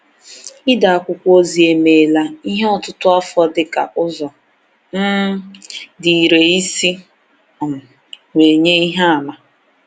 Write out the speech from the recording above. Ide akwụkwọ ozi emeela ihe ọtụtụ afọ dịka ụzọ um dị irè isi um wee nye ihe àmà.